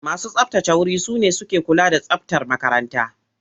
Masu tsabtace wuri su ne suke kula da tsabtar makarantar.